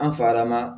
An fa lama